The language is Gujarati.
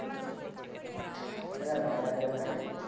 અલ્યા મજા આવી ભાઇ.